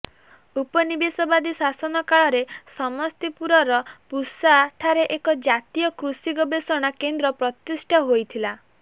ଉପନିବେଶବାଦୀ ଶାସନ କାଳରେ ସମସ୍ତିପୁରର ପୁସାଠାରେ ଏକ ଜାତୀୟ କୃଷି ଗବେଷଣା କେନ୍ଦ୍ର ପ୍ରତିଷ୍ଠା ହୋଇଥିଲା